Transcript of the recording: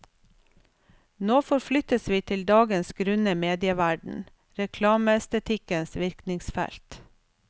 Nå forflyttes vi til dagens grunne medieverden, reklameestetikkens virkningsfelt.